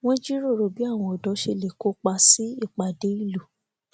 wọn jíròrò bí àwọn ọdọ ṣe lè kópa sí ìpàdé ìlú